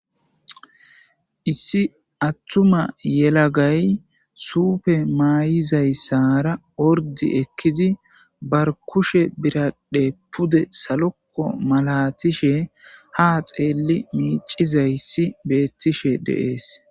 issi attuma yelagay suupe maay7izayssara ordi ekkizi bar kushe biraddhe pude salokko malatishe ha xeelli miicizayssi beettishe deees